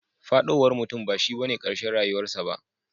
Fadowar mutum bashi bane karshen rayuwar sa ba.